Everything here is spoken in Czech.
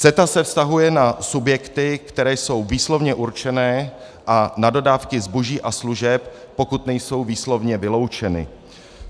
CETA se vztahuje na subjekty, které jsou výslovně určeny, a na dodávky zboží a služeb, pokud nejsou výslovně vyloučeny.